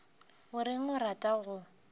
o reng o rata go